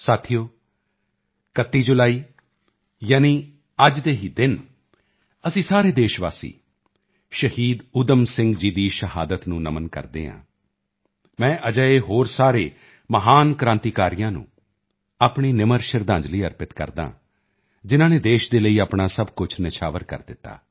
ਸਾਥੀਓ 31 ਜੁਲਾਈ ਯਾਨੀ ਅੱਜ ਹੀ ਦੇ ਦਿਨ ਅਸੀਂ ਸਾਰੇ ਦੇਸ਼ਵਾਸੀ ਸ਼ਹੀਦ ਊਧਮ ਸਿੰਘ ਜੀ ਦੀ ਸ਼ਹਾਦਤ ਨੂੰ ਨਮਨ ਕਰਦੇ ਹਾਂ ਮੈਂ ਅਜਿਹੇ ਹੋਰ ਸਾਰੇ ਮਹਾਨ ਕ੍ਰਾਂਤੀਕਾਰੀਆਂ ਨੂੰ ਆਪਣੀ ਨਿਮਰ ਸ਼ਰਧਾਂਜਲੀ ਅਰਪਿਤ ਕਰਦਾ ਹਾਂ ਜਿਨ੍ਹਾਂ ਨੇ ਦੇਸ਼ ਦੇ ਲਈ ਆਪਣਾ ਸਭ ਕੁਝ ਨਿਛਾਵਰ ਕਰ ਦਿੱਤਾ